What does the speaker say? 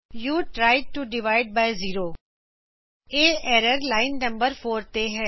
you tried to divide by zero ਇਹ error line number 4 ਤੇ ਹੈ